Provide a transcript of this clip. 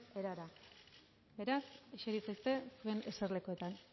erara beraz eseri zaitezte zuen eserlekuetan